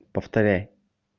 повторяй